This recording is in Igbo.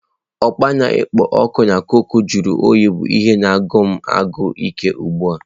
Okpa na-ekpo ọkụ na cokụ jụrụ oyi bụ ihe na-agụsi m agụụ ike ugbu a.